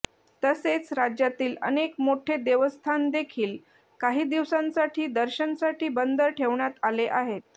तसेच राज्यातील अनेक मोठे देवस्थान देखील काही दिवसांसाठी दर्शनसाठी बंद ठेवण्यात आले आहेत